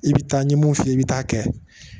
I bɛ taa n ye mun f'i ye i bɛ taa kɛ